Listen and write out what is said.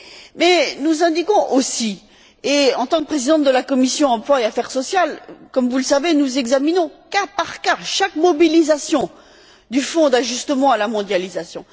Mais nous indiquons aussi et, en tant que présidente de la commission de l'emploi et des affaires sociales, comme vous le savez, nous examinons, au cas par cas, chaque mobilisation du Fonds européen d'ajustement à la mondialisation.